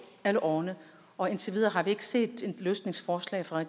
alle årene og indtil videre har vi ikke set et løsningsforslag fra